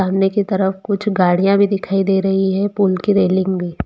सामने की तरफ कुछ गाड़ियां भी दिखाई दे रही है पुल की रेलिंग भी--